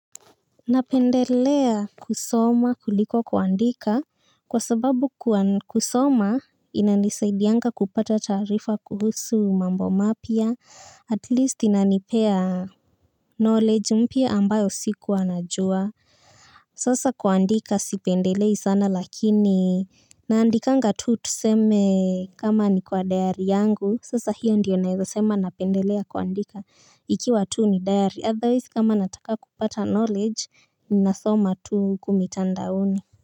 Napendelea kusoma kuliko kuandika. Kwa sababu kusoma inanisaidianga kupata taarifa kuhusu mambo mapya at least inanipea Knowledge mpya ambayo sikua najua. Sasa kuandika sipendelei sana lakini naandikanga tuu tuseme kama ni kwa diary yangu sasa hiyo ndiyo naeza sema napendelea kuandika ikiwa tuu ni diary otherwise kama nataka kupata knowledge ninasoma tu huku mitandaoni.